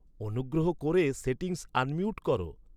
অনুগ্রহ করে settings unmute করো